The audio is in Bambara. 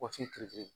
Kɔsigi